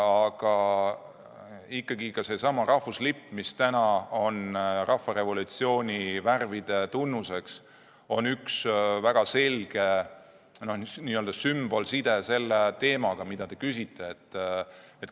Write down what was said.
Aga ikkagi on seesama rahvuslipp, mille värvid on nüüd rahvarevolutsiooni tunnuseks, väga selge sümbolside selle teemaga, mille kohta te küsite.